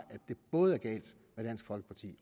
det både er galt med dansk folkeparti